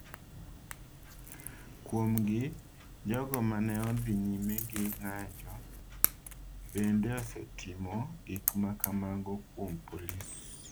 Kuomgi, jogo ma ne odhi nyime gi ng’anjo bende osetimo gik ma kamago kuom polis.